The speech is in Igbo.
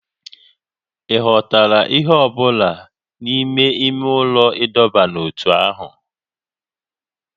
Ị ghọtara ihe ọ bụla n'ime ime ụlọ ịdọba n'ótú ahụ?